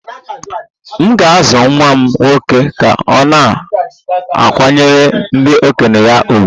M ga-azụ nwa m nwoke ka ọ na-akwanyere ndị okenye ya ùgwù